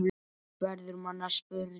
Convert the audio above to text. verður manni að spurn.